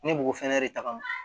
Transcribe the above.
Ne b'o fɛnɛ de ta ka